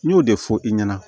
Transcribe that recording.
N y'o de fɔ i ɲɛna